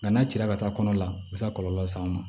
Nka n'a cira ka taa kɔnɔ la u be se ka kɔlɔlɔ las'an ma